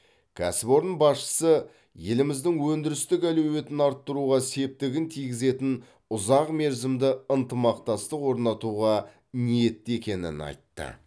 кәсіпорын басшысы еліміздің өндірістік әлеуетін арттыруға септігін тигізетін ұзақ мерзімді ынтымақтастық орнатуға ниетті екенін айтты